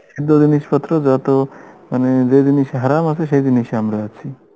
সুন্দর জিনিসপত্র যত মানে যে জিনিসে হারাম আছে সে জিনিসে আমরা আছি